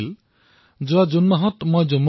তেওঁ লিখিছিল মন কী বাত শুনিবলৈ বৰ ভাল লাগে